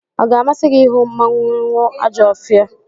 Ọ ga-amasị gị ịhụ mmanwụ Ajọfia?